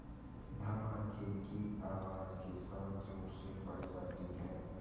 धमाके की आवाज़ के साथ ज़ोर से फट जाती है